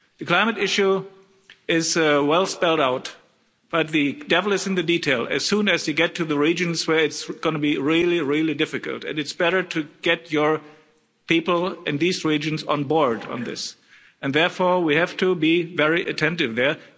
The climate issue is well spelled out, but the devil is in the detail as soon as we get to the regions where it's going to be really, really difficult, and it's better to get your people in these regions on board on this, and therefore we have to be very attentive there.